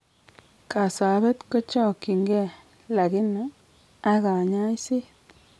Kasabet ko chakchin kee lakini , ag kanyaiset